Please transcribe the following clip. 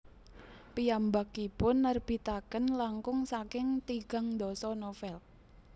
Piyambakipun nerbitaken langkung saking tigang dasa novel